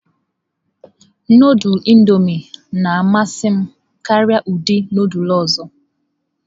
Nudulu Indọmịị na-amasị m karịa ụdị nudulu ọzọ.